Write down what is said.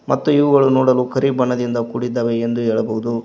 ಮತ್ತು ಇವುಗಳ ನೋಡಲು ಕರಿ ಬಣ್ಣದಿಂದ ಕೂಡಿದ್ದಾವೆ ಎಂದು ಹೇಳಬಹುದು.